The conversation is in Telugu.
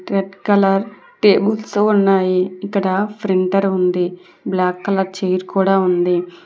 రెడ్ కలర్ టేబుల్సు ఉన్నాయి. ఇక్కడ ఫ్రింటర్ ఉంది. బ్లాక్ కలర్ చైర్ కూడా ఉంది.